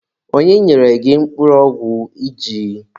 Onye nyere gị mkpụrụ ọgwụ iji?